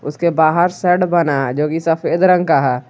इसके बाहर शेड बना जोकि सफेद रंग का।